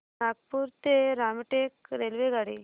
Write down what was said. नागपूर ते रामटेक रेल्वेगाडी